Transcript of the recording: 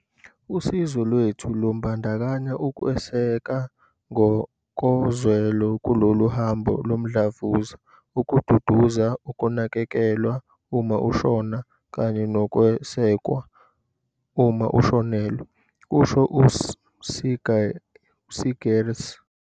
"Usizo lwethu lubandakanya ukweseka ngokozwelo kulolu hambo lomdlavuza, ukududuza, ukunakekelwa uma ushona kanye nokwesekwa uma ushonelwe," kusho u-Seegers.